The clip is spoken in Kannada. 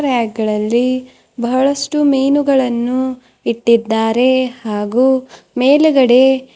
ರ್ಯಾಕ್ ಗಳಲ್ಲಿ ಬಹಳಷ್ಟು ಮೀನುಗಳನ್ನು ಇಟ್ಟಿದ್ದಾರೆ ಹಾಗು ಮೇಲಗಡೆ--